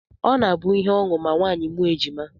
Ọ na-abụ ihe ọṅụ ma nwaanyị mụọ ejima